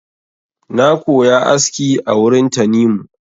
Na koya aski a wurin Tanimu.